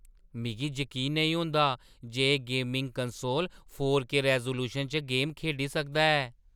मिगी जकीन नेईं होंदा जे एह् gaming console four K resolution च गेम खेढी सकदा ऐ।